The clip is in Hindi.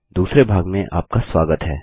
दूसरे भाग में आपका स्वागत है